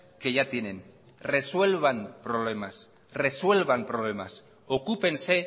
que ya tienen resuelvan problemas resuelvan problemas ocúpense